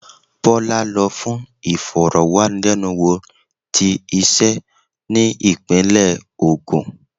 Bola lo fún ìforo-wanilenúwo tí ise ni ipinle ogun.